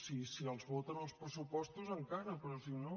bé si els voten els pressupostos encara però si no